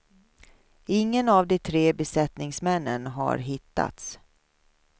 Ingen av de tre besättningsmännen har hittats.